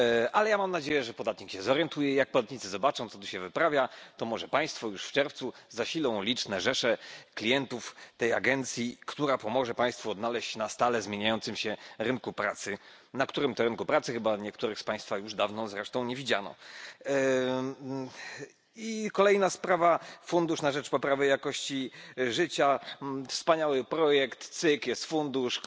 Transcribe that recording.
Ale ja mam nadzieję, że podatnik się zorientuje, i jak podatnicy zobaczą, co tu się wyprawia, to może państwo już w czerwcu zasilą liczne rzesze klientów tej agencji, która pomoże państwu odnaleźć się na stale zmieniającym się rynku pracy, na którym to rynku pracy chyba niektórych z państwa już dawno zresztą nie widziano. Kolejna sprawa fundusz na rzecz poprawy warunków życia. Wspaniały projekt, cyk jest fundusz!